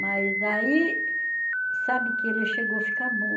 Mas aí, sabe que ele chegou ficar bom.